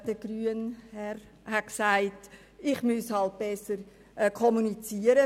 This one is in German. Der Sprecher der Grünen hat gesagt, ich müsse halt mit meiner Fraktion besser kommunizieren.